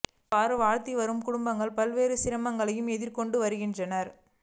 இவ்வாறு வாழ்ந்து வருகின்ற குடும்பங்கள் பல்வேறு சிரமங்களை எதிர்கொண்டு வருகின்றன